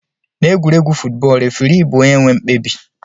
Na egwuregwu futbọl refirii bu onye nwe mkpebi.